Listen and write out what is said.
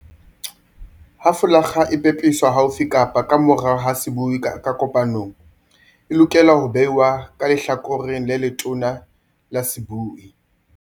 Ha folakga e pepeswa haufi kapa ka morao ho sebui ka kopanong, e lokela ho behwa ka lehlakoreng le letona la sebui.